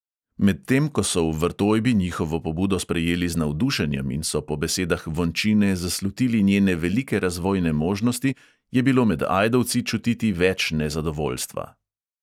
Medtem ko so v vrtojbi njihovo pobudo sprejeli z navdušenjem in so po besedah vončine zaslutili njene velike razvojne možnosti, je bilo med ajdovci čutiti več nezadovoljstva.